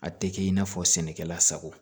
A tɛ kɛ i n'a fɔ sɛnɛkɛla sago